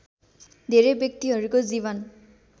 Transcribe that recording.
धेरै व्यक्तिहरूको जीवन